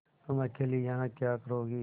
तुम अकेली यहाँ क्या करोगी